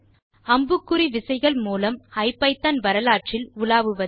அம்புக்குறி விசைகள் மூலம் ஐபிதான் வரலாற்றில் உலாவுவது